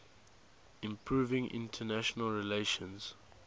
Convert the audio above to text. improving international relations